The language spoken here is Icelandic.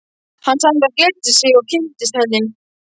Hann sagði það gleddi sig að kynnast henni.